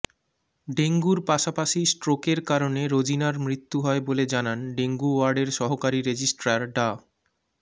ডেঙ্গুর পাশাপাশি স্ট্রোকের কারণে রোজিনার মৃত্যু হয় বলে জানান ডেঙ্গু ওয়ার্ডের সহকারী রেজিস্ট্রার ডা